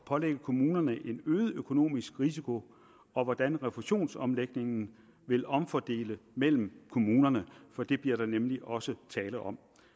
pålægge kommunerne en øget økonomisk risiko og hvordan refusionsomlægningen vil omfordele mellem kommunerne for det bliver der nemlig også tale om